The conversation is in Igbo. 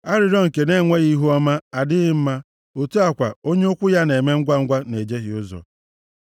Arịrịọ nke na-enweghị ihe ọmụma adịghị mma otu a kwa onye ụkwụ ya na-eme ngwa na-ejehie ụzọ.